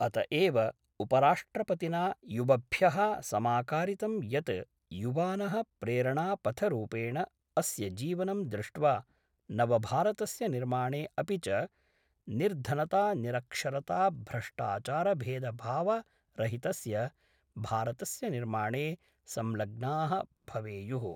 अत एव उपराष्ट्रपतिना युवभ्यः समाकारितं यत् युवानः प्रेरणापथरूपेण अस्यजीवनं दृष्ट्वा नवभारतस्य निर्माणे अपि च निर्धनतानिरक्षरताभ्रष्टाचारभेदभावरहितस्य भारतस्य निर्माणे संग्लग्नाः भवेयुः।